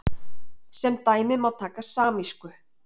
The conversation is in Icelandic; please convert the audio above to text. sem dæmi má taka samísku